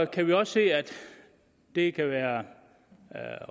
kan vi også se at det kan være